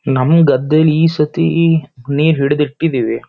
ನಮ್ಮ್ ಗದ್ದೇಲಿ ಈ ಸತಿ ನೀರ್ ಹಿಡ್ದ್ ಇಟ್ಟಿದೀವಿ.